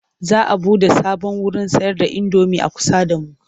Za a buɗe sabon wurin sayarda indomi a kusa da mu.